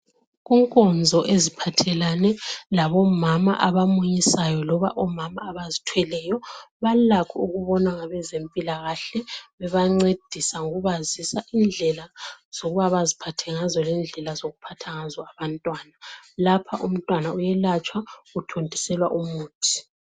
Kunkonzo eziphathelane labomama abamunyisayo loba omama abazithweleyo balakho ukubonwa ngabezempilakahle bebancedisa ngokubazisa indlela zokuba baziphathe ngazo lendlela zokuphatha ngazo abantwana. Lapha umntwana uyelatshwa uthontiselwa umuthi.